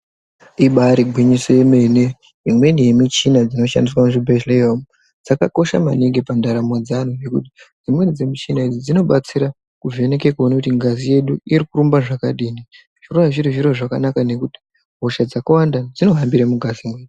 Ibari gwinyiso remene imweni yemuchina inoshandiswa muzvibhedhlera umu dzakakosha maningi pandaramo dzeantu ngekuti Dzimwnei dzemushina iyi dzinobatsira kuona kuti ngazi yedu iri kurumba zvakadini kuona kuti hosha dzakawanda dzinofanbira mungazi medu.